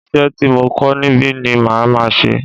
Isẹ́ ti mo kọ́ níbi ni màá máa ṣe